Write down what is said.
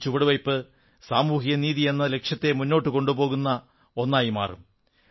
ഈ ചുവടുവയ്പ്പ് സാമൂഹിക നീതിയെന്ന ലക്ഷ്യത്തെ മുന്നോട്ട് കൊണ്ടുപോകുന്ന ഒന്നായി മാറും